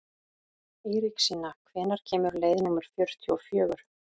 Eiríksína, hvenær kemur leið númer fjörutíu og fjögur?